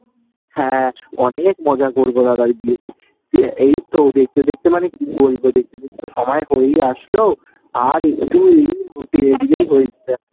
হ্যাঁ অনেক মজা করবো দাদার বিয়েতে। এই তো দেখতে দেখতে মানে কি বলবো , দেখতে দেখত তো সময় হয়েই আসলো আর একটু